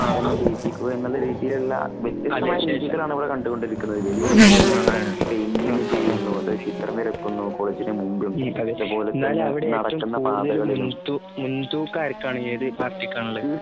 എന്നെ ചെയ്യിപ്പിക്കുക എന്നുള്ള രീതിയിലുള്ള വ്യത്യസ്തമായ രീതികളാണ് ഇവിടെ കണ്ടുകൊണ്ടിരിക്കു ന്നത് . വലിയ രീതിയിലുള്ള പെയിന്റിങ് ചെയ്യുന്നു, ചിത്രം വരയ്ക്കുന്നു, കോളേജിന്റെ മുന്നിൽ അതുപോലെ തന്നെ നടക്കുന്ന പാതകളിലും-